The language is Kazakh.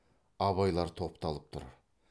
абайлар топталып тұр